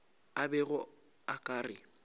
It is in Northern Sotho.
a bego a ka re